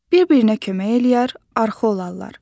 Bir-birinə kömək eləyər, arxa olarlar.